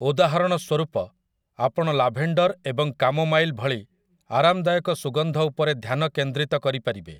ଉଦାହରଣ ସ୍ୱରୂପ, ଆପଣ ଲାଭେଣ୍ଡର୍ ଏବଂ କାମୋମାଇଲ୍ ଭଳି ଆରାମଦାୟକ ସୁଗନ୍ଧ ଉପରେ ଧ୍ୟାନ କେନ୍ଦ୍ରିତ କରିପାରିବେ ।